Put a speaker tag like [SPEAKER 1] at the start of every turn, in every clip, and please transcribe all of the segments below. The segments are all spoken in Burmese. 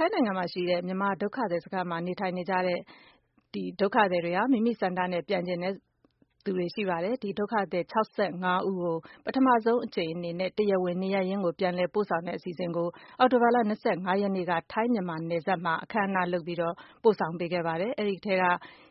[SPEAKER 1] ိုင်းနိုင်ငံရှိ မြန်မာဒုက္ခသည်စခန်းမှာ နေထိုင်နေတဲ့ မိမိဆန္ဒနဲ့ပြန်ချင်တဲ့ဒုက္ခသည် ၆၅ဦးကို ပထမဦ်းဆုံး အနေနဲ့ တရားဝင်နေရပ်ရင်း ကို ပြန်လည်ပို့ဆောင်တဲ့ အစီအစဉ်ကို အောက်တိုဘာလ၂၅ရက်နေ့က ထိုင်း မြန်မာနယ်စပ်မှာ အခမ်းအနား လုပ်ပြီး ပို့ဆောင်ခဲ့ပါတယ်။ ဒီထဲက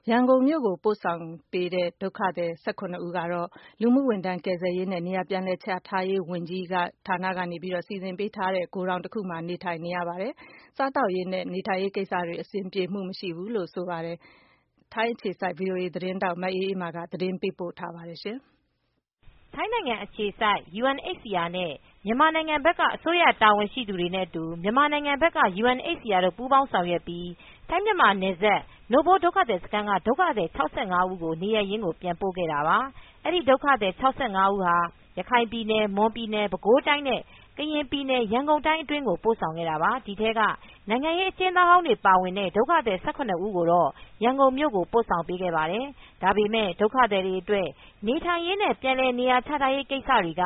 [SPEAKER 1] ရန်ကုန်မြို့ကိုပို့ဆောင်ခံရတဲ့ ဒုက္ခသည် ၁၇ဦးကတော့ လူမူဝန်ထမ်း ကယ်ဆယ်ရေးနဲ့နေရာပြန်လည်ချထားရေး ဝန်ကြီးဌာန ကနေ စီစဉ်ပေးထားတဲ့ ဂိုဒေါင်တခုမှာနေထိုင်ရတဲ့အတွက် စားသောက်ရေး နဲ့ နေထိုင်ရေးကိစ္စတွေမှာ အဆင်ပြေမှုမရှိဘူးလို့ ဆိုပါတယ်။ ထိုင်းအခြေစိုက် ဗွီအိုအေသတင်းထောက် မအေးမာက သတင်းပေးပို့ထားပါတယ်
[SPEAKER 2] ။ ထိုင်းနိုင်ငံအခြေစိုက် UNHCR နဲ့ မြန်မာနိုင်ငံဘက်က အစိုးရတာဝန်ရှိသူတွေနဲ့ အတူမြန်မာနိုင်ငံက UNHCR တို့ပူပေါင်းဆောင်ရွက်ပြီး ထိုင်းမြန်မာနယ်စပ် နို့ဖိုးဒုက္ခသည်စခန်းက ဒုက္ခသည် ၆၅ဦးကို နေရပ်ရင်းပြန်ပို့ခဲ့ပါတယ်။ အဲဒီ့ဒုက္ခသည် ၆၅ဦးကို ရခိုင်ပြည်နယ်၊ မွန်ပြည်နယ် ပဲခူးတိုင်းနဲ့ ကရင်ပြည်နယ် ရန်ကုန်တိုင်းအတွင်းကို ပို့ဆောင်ခဲ့တာပါ။ ဒီထဲက နိုင်ငံရေး အကျဉ်းသားဟောင်းတွေ ပါဝင်တဲ့ ဒုက္ခသည် ၁၇ဦး ကိုတော့ ရန်ကုန်မြို့ကို ပို့ဆောင်ပေးခဲ့ပါတယ်။ ဒါပေမဲ့ ဒုက္ခသည်တွေ အတွက် နေထိုင်ရေးနဲ့ ပြန်လည်နေရာချ ထားရေး ကိစ္စတွေက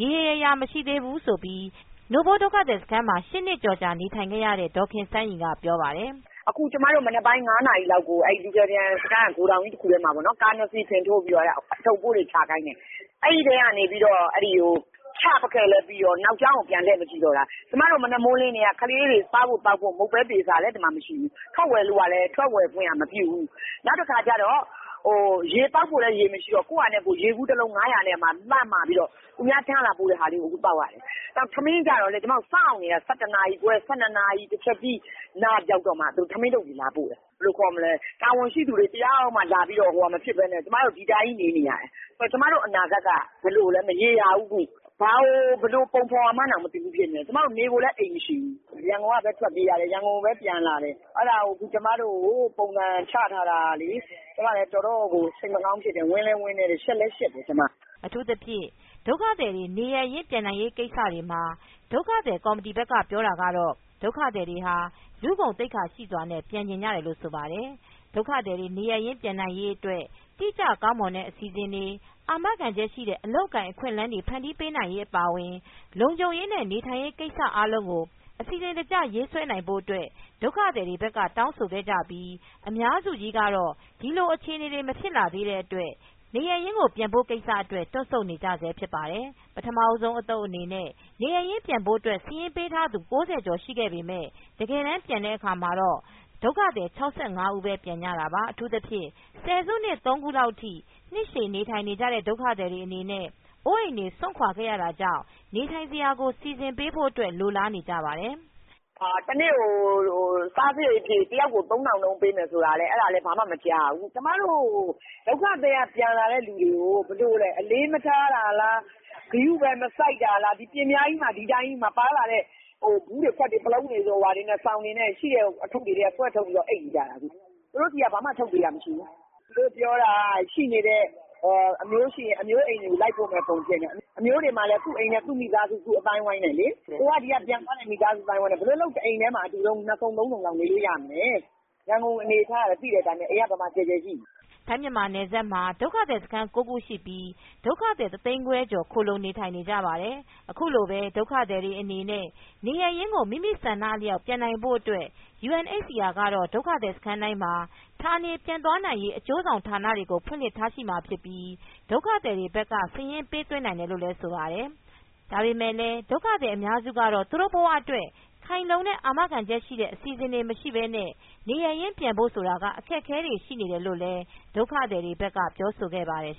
[SPEAKER 2] ရေရေရာရာ မရှိသေးဘူး ဆိုပြီး နိုဖိုးဒုက္ခသည်စခန်းမှာ ၈နှစ်ကျော်နေထိုင်ခဲ့ရတဲ့ ဒေါ်ခင်
[SPEAKER 3] စန်းရီကပြောပါတယ်။ " အခု ကျမတို့ မနက်ငါးနာရီလောက်ကို လူကယ်ပြန်စခန်းက ဂိုဒေါင်ကြီး တခုထဲမှာပေါ့နော်။ ကားနှစ်စီး ဖင်ထိုးပြီး အထုတ်အပိုးတွေ ချခိုင်းတယ်။ အဲ့ဒီ့ကတည်းက ချပစ်ခဲ့ပြီးကတည်းက နောက်ကြောင်းကို ပြန်မကြည့်တော့ဘူး။ ကျမတို့ မနက်မိုးမလင်းကတည်းက ကလေးတွေ စားဖို့သောက်ဖို့ မုန့်ပဲသားရေစာလည်း မရှိဘူး။ ထွက်ဝယ်ဖို့ကလည်း ထွက်ဝယ်ခွင့်က မပြုဘူး။ နောက် ရေသောက်ဖို့လည်း ရေမရှိတော့ ကိုယ့်ဘာသာနဲ့ကိုယ်ရေဗူးတလုံး ငါးရာနဲ့လှမ်းမှာပြီး သူများထမ်းလာပို့တဲ့ဟာကို သောက်ရတယ်။ ထမင်းကျတော့လည်း ကျမတို့ စောင့်နေရတယ်။ ၁၁နာရီခွဲ၊ ၁၂နာရီ တစ်ချက်တီးနားရောက်တော့မှ ထမင်းထုပ်တွေ လာပို့တယ်။ ဘယ်လိုခေါ်မလဲ တာဝန်ရှိသူတွေ တယောက်မှ မလာပဲနဲ့ ကျမတို့ ဒီအတိုင်းကြီး နေနေရတယ်။ ကျမတို့အနာဂတ်က ဘယ်လိုလဲ မရေရာဘူး။ ဘာကို ဘယ်လိုပုံဖော်ရမှန်းကို မသိဘူးဖြစ်နေတယ်။ ကျမတို့ နေစရာ အိမ်လည်း မရှိဘူး။ ရန်ကုန်ကပဲ ထွက်ပြေးရတယ်။ ရန်ကုန်ကိုပဲ ပြန်လာတယ်။ အဲ့တာကို ကျမတို့ကိုပုံစံချထားတာ ကျမတို့ တော်တော်စိတ်မကောင်းဖြစ်တယ်။ ဝမ်းလည်းနည်းတယ်။ ရှက်လည်းရှက်တယ် ကျမ။
[SPEAKER 2] " အထူးသဖြင့် ဒုက္ခသည်တွေနေရပ်ရင်းပြန်နိုင်ရေး ကိစ္စတွေမှာ ဒုက္ခသည်ကော်မတီ ဘက်ကပြောတာကတော့ ဒုက္ခသည်တွေဟာ လူဂုဏ်သိက္ခာရှိစွာ နဲ့ ပြန်ချင်ကြတယ်လို့ ဆိုပါတယ်။ ဒုက္ခသည်တွေနေရပ်ရင်းကို ပြန်နိုင်ရေးအတွက်တိကျကောင်းမွန်တဲ့အစီစဉ်တွေ အာမခံချက်ရှိတဲ့ အလုပ်အကိုင်အခွင့်အလမ်းတွေ ဖန်တီးပေးနိုင်ရေးအပါအဝင် လုံခြုံရေးနဲ့နေထိုင်ရေးကိစ္စတွေ အားလုံးကို အစီစဉ်တကျရေးဆွဲဖို့အတွက် ဒုက္ခသည်တွေဘက်က တောင်းဆိုခဲ့ကြပြီး အများစု ကတော့ ဒီလိုအခြေအနေတွေ မဖြစ်လာသေးတဲ့အတွက် နေရပ်ကိုပြန်ဖို့အတွက် တွန့်ဆုတ်နေကြဆဲဖြစ်ပါတယ်။ ပထမဦးဆုံး အသုတ်အနေနဲ့ နေရပ်ရင်းပြန်ဖို့အတွက် စာရင်းပေးထားသူ ၉၀ကျော် ရှိပေမဲ့ တကယ်ပြန်တဲ့အခါမှာတော့ ၆၅ဦးပဲပြန်ကြတာပါ။ အထူးသဖြင့် ဆယ်စုနှစ် ၃ခုလောက်ထိ နှစ်ရှည်နေထိုင်ကြရတဲ့ ဒုက္ခသည်တွေ အနေနဲ့ အိုးအိမ်တွေ စွန့်ခွါခဲ့ရတာကြောင့် နေထိုင်စရာကို စီစဉ်ပေးဖို့အတွက် လိုလားနေကြပါတယ်။
[SPEAKER 3] " တနေ့ကို စားစားရိတ်အဖြစ် တယောက်ကို သုံးထောင်နှုန်းပေးမယ်ဆိုတာလည်း အဲ့တာလည်း ဘာမှ မကြားရဘူး။ ကျမတို့ ဒုက္ခသည်တွေက ပြန်လာတဲ့သူတွေကို ဘယ်လိုလဲ အလေးမထားတာလား။ ဂရုပဲမစိုက်တာလား ဒီအတိုင်းပဲ ပါလာတဲ့ ဗူးတွေ ခွက်တွေ ပလုံးတွေရှိတဲ့ အထုပ်တွေထဲက စောင်တွေဆွဲထုတ်ပြီးတော့ အိပ်နေကြတာ အခု။ သူတို့ဆီက ဘာမှ ထုတ်ပေးတာမရှိဘူး။ သူတို့ပြောတာက ရှိနေတဲ့ အမျိုးတွေ ရှိရင် ရှိတဲ့အိမ်ကို လိုက်ပို့ပေးမယ့်ပုံဖြစ်နေတယ်။ အမျိုးတွေမှာလည်း သူ့အိမ်နဲ့ သူ့မိသားစု သူ့အသိုင်းဝိုင်းနဲ့လေ။ ကိုယ်ကပြန်သွားတဲ့ မိသားစုအသိုင်းအဝိုင်းနဲ့ ဘယ်လိုလုပ် တအိမ်တည်းမှာ နှစ်စုံ၊ သုံးစုံ နေလို့ရမလဲ။ ရန်ကုန်အနေအထားကလည်း သိတဲ့အတိုင်းပဲ ဘယ်လိုအိမ်က ကျယ်ကျယ်ရှိမလဲ။" ထိုင်းမြန်
[SPEAKER 2] မာနယ်စပ်မှာ ဒုက္ခသည်စခန်း ၉ခုရှိပြီး ဒုက္ခသည်တသိန်းခွဲကျော် ခိုလှုံနေထိုင်နေကြပါတယ်။ အခုလိုပဲဒုက္ခသည်တွေအနေနဲ့ နေရပ်ရင်းကို မိမိဆန္ဒအလျောက်ပြန်နိုင်ဖို့အတွက် UNHCRကတော့ ဒုက္ခသည်စခန်းတိုင်းမှာ ဌာနေပြန်သွားနိုင်ရေး အကျိုးဆောင်ဌာနတွေကို ဖွင့်လှစ်ထားမှာဖြစ်ပြီ ဒုက္ခသည်တွေဘက်က စာရင်းပေးသွင်းနိုင်တယ်လို့ဆိုပါတယ်။ ဒါပေမဲလည်း ဒုက္ခသည် အများစုကတော့ သူတို့ဘဝအတွက် ခိုင်လုံတဲ့အာမခံချက်ရှိတဲ့ အစီစဉ်တွေ မရှိပဲနဲ့ နေရပ်ရင်းပြန်နိုင်ဖို့က အခက်အခဲရှိနေတယ်လို့လည်း ဒုက္ခသည်တွေဘက်ကပြောဆိုခဲ့ပါတယ်